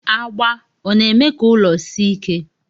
Agba ọna eme ka ụlọ si ike?